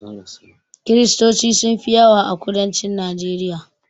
Kristoci sun fi yawa a kudancin najeriya